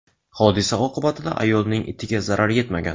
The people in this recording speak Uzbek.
Hodisa oqibatida ayolning itiga zarar yetmagan.